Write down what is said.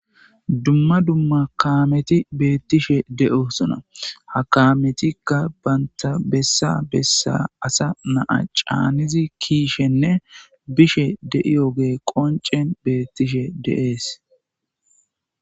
dumma dumma kaameti beettishe de7o suna hakaametikka banta bessa bessa asa naa caanizi kiishenne bishe deiyoge qoncen beettishe deees